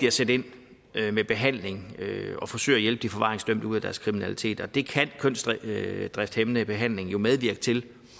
at sætte ind med behandling og forsøge at hjælpe de forvaringsdømte ud af deres kriminalitet og det kan kønsdrifthæmmende behandling jo medvirke til